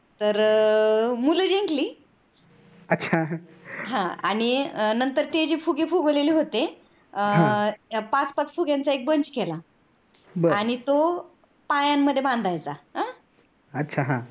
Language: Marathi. तर मुल जिंकली हा आणि नंतर ते जी फुगे फुगवलेले होत पाच पाच फुग्यांचा bunch केला आणि तो पायांमध्ये बांधायचा आह